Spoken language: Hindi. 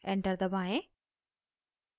enter दबाएं